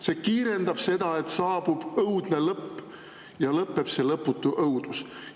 See kiirendab seda, et saabub õudne lõpp ja lõpeb see lõputu õudus.